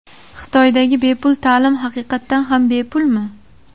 Xitoydagi bepul ta’lim haqiqatan ham bepulmi?.